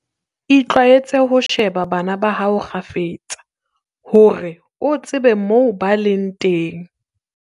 Itlwaetse ho sheba bana ba hao kgafetsa, hore o tsebe moo ba leng teng.